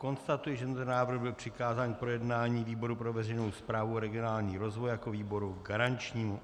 Konstatuji, že tento návrh byl přikázán k projednání výboru pro veřejnou správu a regionální rozvoj jako výboru garančnímu.